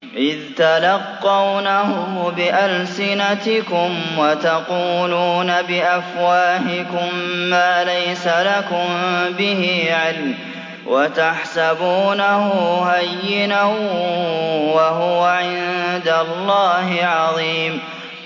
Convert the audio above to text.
إِذْ تَلَقَّوْنَهُ بِأَلْسِنَتِكُمْ وَتَقُولُونَ بِأَفْوَاهِكُم مَّا لَيْسَ لَكُم بِهِ عِلْمٌ وَتَحْسَبُونَهُ هَيِّنًا وَهُوَ عِندَ اللَّهِ عَظِيمٌ